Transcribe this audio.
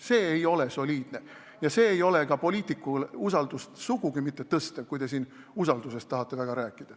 See ei ole soliidne ja see poliitiku usaldusväärsust sugugi mitte ei suurenda, kui te tahate siin nii väga usaldusväärsusest rääkida.